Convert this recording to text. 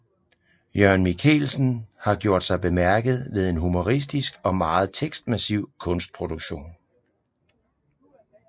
Jørgen Michaelsen har gjort sig bemærket ved en humoristisk og meget tekstmassiv kunstproduktion